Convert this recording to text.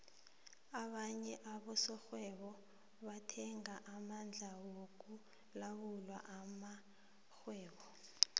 abanye abosokghwebo bathenga amandla wokulawula amakhgwebo